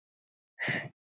Mest af öllum.